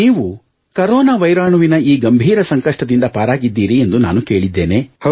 ನೀವು ಕರೋನಾ ವೈರಾಣುವಿನ ಈ ಗಂಭೀರ ಸಂಕಷ್ಟದಿಂದ ಪಾರಾಗಿದ್ದೀರಿ ಎಂದು ನಾನು ಕೇಳಿದ್ದೇನೆ